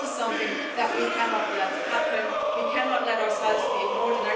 This is something that we cannot let happen. We cannot let ourselves be ignored.